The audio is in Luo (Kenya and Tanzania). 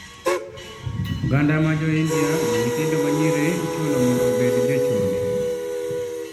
Oganda mar jo india ma nyithindo ma nyiri ichuno mondo obed jo chode